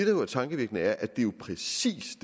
jo er tankevækkende er at det jo præcis